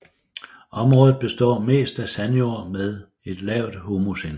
Området består mest af sandjord med et lavt humusindhold